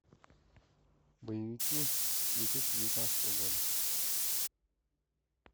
боевики две тысячи девятнадцатого года